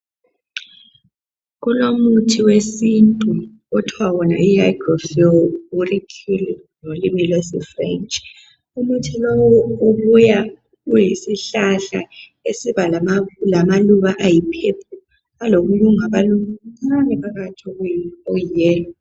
Kulomuthi wesintu othwa wona yi hygrophilia auriculata french umuthi lowu ubuya uyisihlahla esibalamaluba ayi purple lokuncane phakathi okuyi yellow